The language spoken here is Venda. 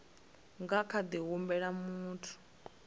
nga kha ḓi humbela muthu